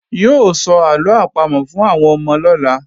Yóò sọ àlọ́ àpamọ̀ fún àwọn ọmọ lọ́la